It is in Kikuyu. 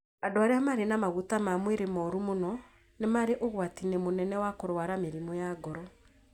Andũ arĩa marĩ na maguta ma mwĩrĩ mũru mũno nĩ marĩ ũgwati-inĩ mũnene wa kũrũara mĩrimũ ya ngoro.